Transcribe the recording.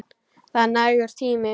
Það er nægur tími.